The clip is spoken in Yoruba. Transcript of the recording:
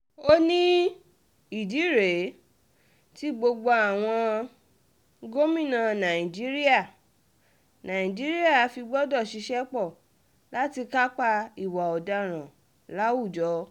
ó ní um ìdí rèé tí gbogbo àwọn um gómìnà nàìjíríà nàìjíríà fi gbọdọ̀ ṣiṣẹ́ pọ̀ láti kápá ìwà ọ̀daràn láwùjọ